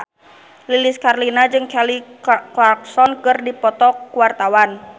Lilis Karlina jeung Kelly Clarkson keur dipoto ku wartawan